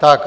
Tak.